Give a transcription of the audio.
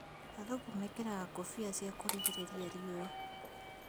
Athũngũ mekĩraga ngũbia cia kũrigĩrĩria rĩũa